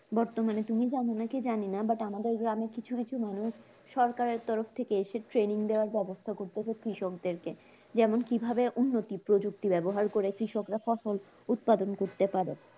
বর্তমানে তুমি জানো নাকি জানিনা বাট আমাদের গ্রামে কিছু কিছু মানুষ সরকারের তরফ থেকে এসে training দেয়ার ব্যবস্থা করতেছে কৃষকদেরকে যেমন, কিভাবে উন্নতি প্রযুক্তি ব্যবহার করে কৃষকরা ফসল উৎপাদন করতে পারে?